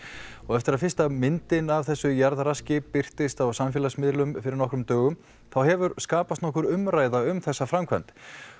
eftir að fyrsta myndin af þessu jarðraski birtist á samfélagsmiðlum fyrir nokkrum dögum hefur skapast umræða um þessa framkvæmd